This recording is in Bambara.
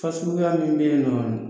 Fasuguya min bɛ yen nɔ